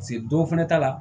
dɔw fɛnɛ ta la